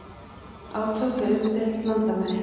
Átök við umdeild landamæri